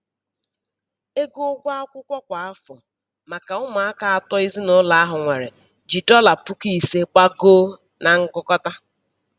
Ego ụgwọ akwụkwọ kwa afọ maka ụmụaka atọ ezinaụlọ ahụ nwere ji dọla puku ise, gbagoo na ngụkọta.